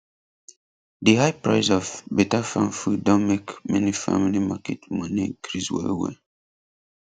di high price of betterfarm food don make many family market money increase wellwell